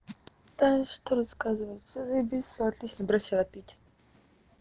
что рассказывать все заебись все отлично бросила пить